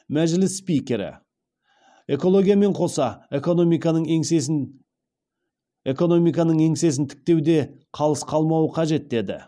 мәжіліс спикері экологиямен қоса экономиканың еңсесін тіктеу де қалыс қалмауы қажет деді